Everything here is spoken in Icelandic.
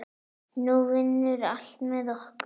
Nú vinnur allt með okkur.